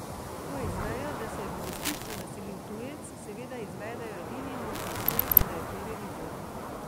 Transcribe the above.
Ko izvejo, da se je v gostišču naselil tujec, seveda izvedejo edini možni sklep, da je to revizor.